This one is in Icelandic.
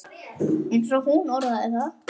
eins og hún orðaði það.